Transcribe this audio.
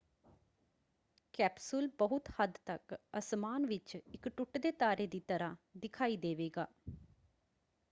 Capsule ਬਹੁਤ ਹੱਦ ਤੱਕ ਅਸਮਾਨ ਵਿੱਚ ਇੱਕ ਟੁੱਟਦੇ ਤਾਰੇ ਦੀ ਤਰ੍ਹਾਂ ਦਿਖਾਈ ਦੇਵੇਗਾ।